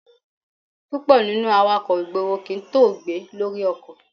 Púpọ̀ nínú awakọ̀ ìgboro kì í tóògbé lórí ọkọ̀.